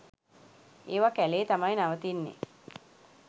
ඒවා කැලේ තමයි නවතින්නෙ.